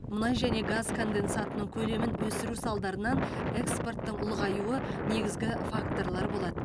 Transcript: мұнай және газ конденсатының көлемін өсіру салдарынан экспорттың ұлғаюы негізгі факторлар болады